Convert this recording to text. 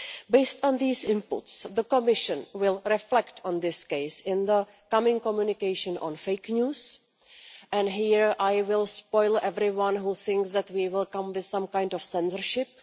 Based on these inputs, the Commission will reflect on this case in the coming communication on fake news, and here I will have to disappoint everyone who thinks that we will come up with some kind of censorship.